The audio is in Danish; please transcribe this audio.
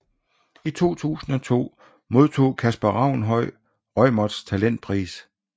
I 2002 modtog Kasper Ravnhøj Reumerts Talentpris